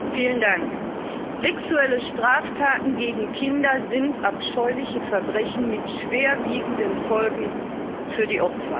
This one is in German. Herr Präsident! Sexuelle Straftaten gegen Kinder sind abscheuliche Verbrechen mit schwerwiegenden Folgen für die Opfer.